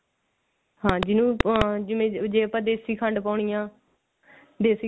ਹਾਂ ਜਿੰਨੂ ਹਾਂ ਜਿਵੇਂ ਆਪਾਂ ਦੇਸੀ ਖੰਡ ਪਾਉਣੀ ਐ ਦੇਸੀ ਖੰਡ